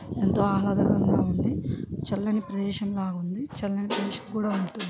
ఎంతో ఆహాలదకరం గా ఉంది చల్లని ప్రదేశం లాగా ఉంది చల్లని ప్రదేశం కూడా ఉంటుంది.